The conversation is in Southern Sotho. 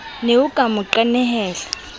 ne o ka mo qenehela